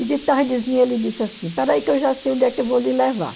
E de tardezinha ele disse assim, espera aí que eu já sei onde é que eu vou lhe levar.